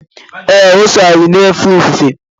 ee, o so anyị na-efe ofufe